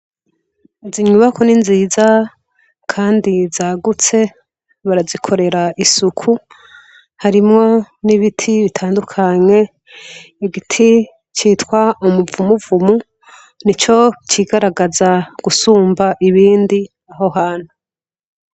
Izi nyubakwa ni nziza kandi zagutse barazikorera isuku harimwo n' ibiti bitandukanye igiti citwa umuvumuvu nico cigaragaza gusumba ibindi aho hantu.